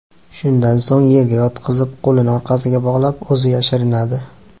Shundan so‘ng yerga yotqizib, qo‘lini orqasiga bog‘lab, o‘zi yashirinadi.